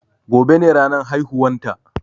Gobe ne ranan haihuwan ta